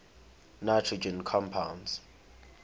nitrogen compounds